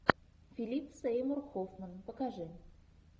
филип сеймур хоффман покажи